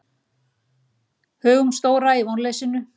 Hugumstóra í vonleysinu.